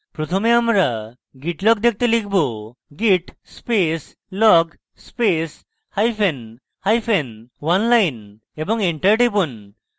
প্রথমে আমরা git log দেখতে লিখব: git space log space hyphen hyphen oneline এবং enter টিপুন